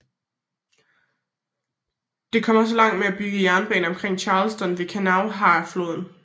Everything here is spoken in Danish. Det kom også langt med at bygge jernbanen omkring Charleston ved Kanawhafloden